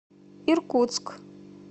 иркутск